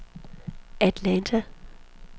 Atlanta